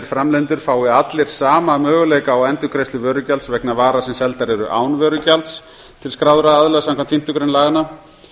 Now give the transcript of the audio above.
framleiðendur fái allir sama möguleika á endurgreiðslu vörugjalds vegna vara sem seldar eru án vörugjalds til skráðra aðila samkvæmt fimmtu grein laganna